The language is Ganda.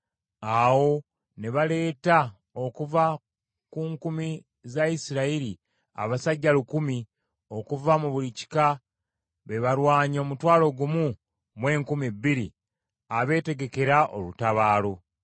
Awo ne baleeta okuva ku nkumi za Isirayiri abasajja lukumi okuva mu buli kika be balwanyi omutwalo gumu mu enkumi bbiri abeetegekera olutabaalo.